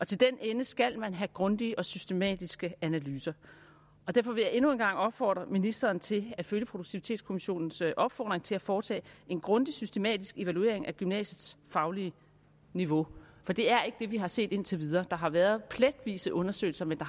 til den ende skal man have grundige og systematiske analyser derfor vil jeg endnu en gang opfordre ministeren til at følge produktivitetskommissionens opfordring til at foretage en grundig systematisk evaluering af gymnasiets faglige niveau for det er ikke det vi har set indtil videre der har været pletvise undersøgelser men